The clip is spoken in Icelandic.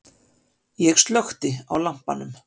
Ég slökkti á lampanum.